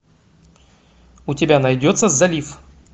у тебя найдется залив